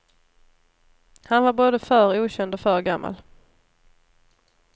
Han var både för okänd och för gammal.